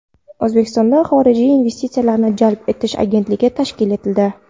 O‘zbekistonda Xorijiy investitsiyalarni jalb etish agentligi tashkil etildi.